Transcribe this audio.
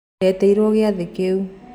Ndietirwo gĩathĩ kĩu.